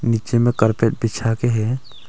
नीचे में कार्पेट बिछा के है।